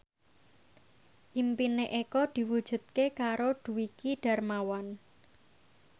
impine Eko diwujudke karo Dwiki Darmawan